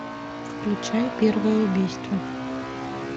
включай первое убийство